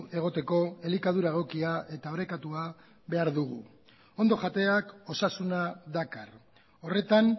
egoteko elikadura egokia eta orekatua behar dugu ondo jateak osasuna dakar horretan